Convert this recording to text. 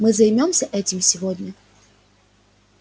мы займёмся этим сегодня